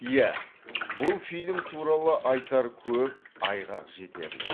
иә бұл фильм туралы айтар көп айғақ жетерлік